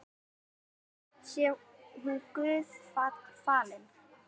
Sé hún Guði falin.